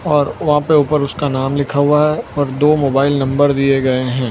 और वहां पे उसका नाम लिखा हुआ है और दो मोबाइल नंबर दिए गए हैं।